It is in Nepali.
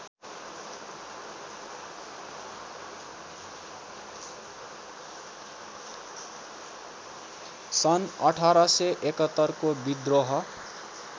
सन् १८७१ को विद्रोह